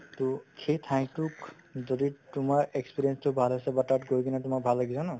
to সেই ঠাইতোক যদি তোমাৰ experience তো ভাল আছে বা তাত গৈ কিনে তোমাৰ ভাল লাগিছে হয় ন